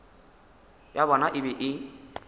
ya bona e be e